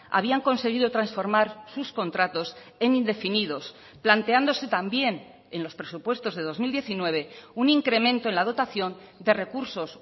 habían conseguido transformar sus contratos en indefinidos planteándose también en los presupuestos de dos mil diecinueve un incremento en la dotación de recursos